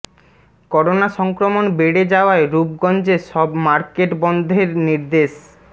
corona সংক্রমণ বেড়ে যাওয়ায় রূপগঞ্জে সব মার্কেট বন্ধের নির্দেশ